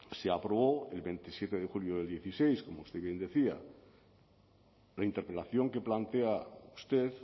se aprobó el veintisiete de julio del dieciséis como usted bien decía la interpelación que plantea usted